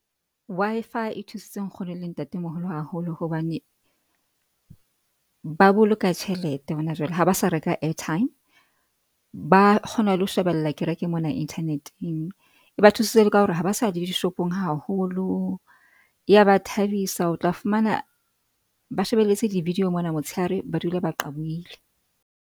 Wi-Fi e thusitse nkgono le ntate moholo haholo hobane, ba boloka tjhelete ho na jwale. Ha ba sa reka airtime, ba kgona le ho shebella kereke mona internet-eng. E ba thusitse le ka hore ha ba sa ya le dishopong haholo. Ya ba thabisa o tla fumana ba shebelletse di-video mona motsheare ba dula ba qabohile.